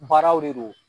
Baaraw de don